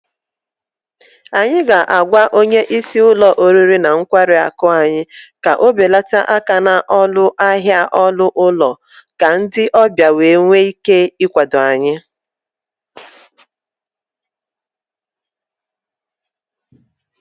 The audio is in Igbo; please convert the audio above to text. Anyị ga-agwa onye isi ụlọ oriri na nkwari akụ anyị ka ọ belata aka n'ọnụ ahịa ọnụ ụlọ ka ndị ọbịa wee nwee ike ịkwado anyị